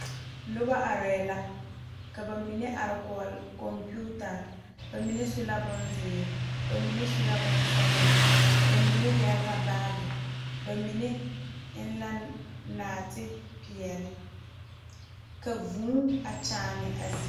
Noba are la, ka ba mine are kɔɔ kompitarre, ba mine su la bonzeɛre ba mine ba mine su la bonsɔglɔ, ba mine yɛre la baagere ba mine eŋ la nɔɔte pɛɛle, ka vʋʋ a kyaane a zie zaa.